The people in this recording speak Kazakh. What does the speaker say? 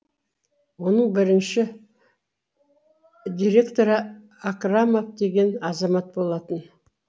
оның бірінші директоры акрамов деген азамат болатын